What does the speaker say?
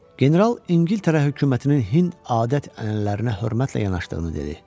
General İngiltərə hökumətinin Hind adət-ənənələrinə hörmətlə yanaşdığını dedi.